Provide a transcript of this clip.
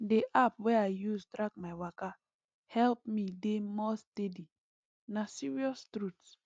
the app wey i use track my waka help me dey more steady na serious truth